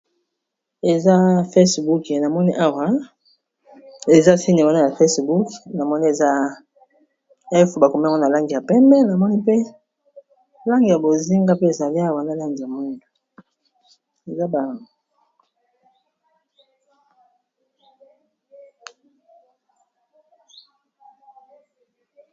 Ea facebook a moi ara eza tine wana ya facebook na moi ea bakoma na lang ya pee namoi mpelangi a bozinga, pe ezali waa lang a m